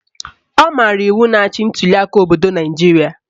Ọ maara iwu na-achị ntuliaka obodo Naijiria